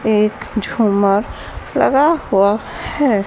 एक झुमर लगा हुआ है।